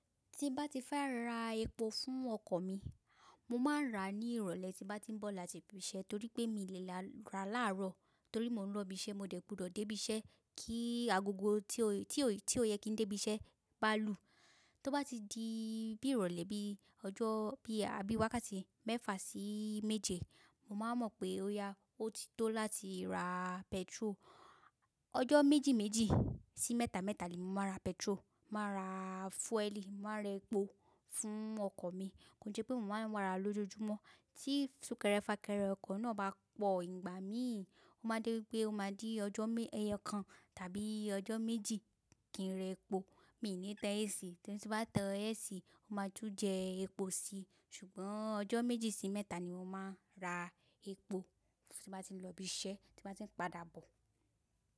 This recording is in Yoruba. Tí bá ti fẹ́ ra epo fún ọkọ̀ mi, mo máa ń rà á ní ìrọ̀lẹ́ tí bá ti ń bọ̀ láti ibi iṣẹ́ torí pé mí lè rà a láàárọ̀ torí mò ń lọ ibi iṣẹ́, mo dẹ́ gbudo dé ibi iṣẹ́ kí agogo tí ó yẹ kí ń dé ibi iṣẹ́ bá lù. Tó bá ti di bí ìrọ̀lẹ́ bí ọjọ́ bí àbí wákàtí mẹ́fà sí méje, mo máa mọ̀ pé ó yá, ó ti tó láti ra pẹtiró. Ọjọ́ méjì méjì sí mẹ́ta mẹ́ta ni mo máa ra pẹtiró, màá ra fúẹ́ẹ́lì, màá ra epo fún ọkọ̀ mi. Kò jẹ́ pé mo máa ń wàra lójoojúmọ́ tí fúkẹ̀rẹ́ fakẹ̀rẹ́ ọkọ̀ náà bá pọ̀ ìgbà mí, ó máa jẹ́ wípé ó máa di ọjọ́ kan tàbí ọjọ́ méjì kí ń rẹ epo. Mi ò ní tan AC, torí tí bá tan AC, ó máa tú jẹ epo síi. Ṣùgbọ́n ọjọ́ méjì sí mẹ́ta ni mo máa ń ra epo tí bá ti ń lọ ibi iṣẹ́, tí bá ti ń padà bọ̀.